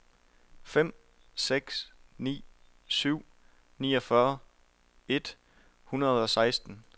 fem seks ni syv niogfyrre et hundrede og seksten